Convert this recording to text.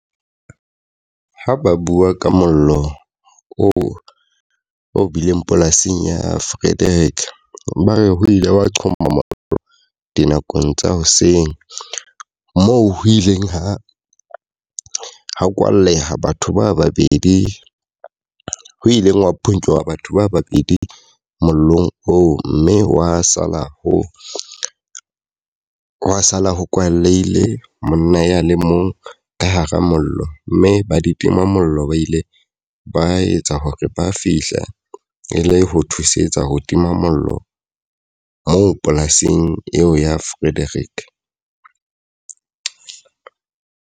Ha ba bua ka mollo oo o bileng polasing ya Frederick, ba re ho ile wa qhoma mollo dinakong tsa hoseng. Moo ho ileng ha ha o kwalleha batho ba babedi ho ileng wa phonyowa batho ba babedi mollong oo. Mme wa sala ho wa sala ho kwaleile monna ya le mong ka hara mollo. Mme ba ditimamollo ba ile ba etsa hore ba fihla e le ho thusetsa ho tima mollo moo polasing eo ya Frederick.